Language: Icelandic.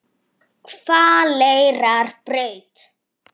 Hvaleyrarbraut